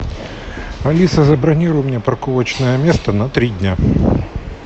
алиса забронируй мне парковочное место на три дня